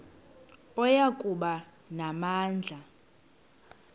oya kuba namandla